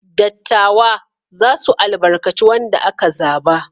Dattawa za su albarkaci wanda aka zaba.